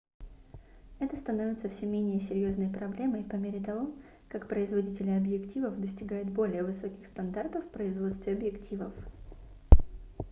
это становится всё менее серьёзной проблемой по мере того как производители объективов достигают более высоких стандартов в производстве объективов